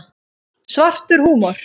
Svartur húmor.